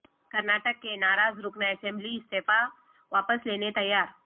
کرناٹک کے ناراض رکن اسمبلی استعفا واپس لینے تیار